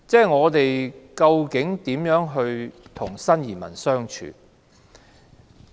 我們究竟如何與新移民相處？